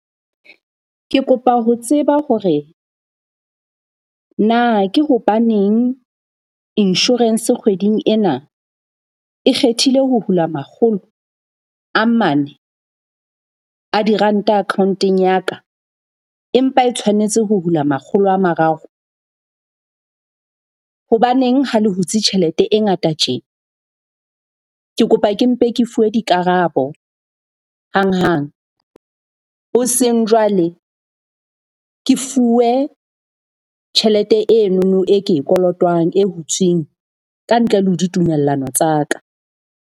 Ke kopa ho tseba hore na ke hobaneng insurance kgweding ena e kgethile ho hula makgolo a mane a diranta account-eng ya ka? Empa e tshwanetse ho hula makgolo a mararo. Hobaneng ha le hutse tjhelete e ngata tje? Ke kopa ke mpe ke fuwe dikarabo hang hang. Hoseng jwale ke fuwe tjhelete enono e ke e kolotwang e hutsweng ka ntle le ho ditumellano tsa ka.